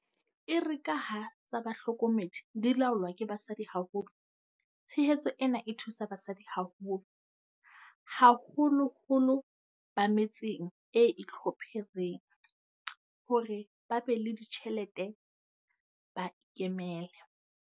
Erekaha tsa bohlokomedi di laolwa ke basadi haholo, tshehetso ena e thusa basadi haholo, haholoholo ba me tseng e itlhophereng, hore ba be le ditjhelete ba ikemele.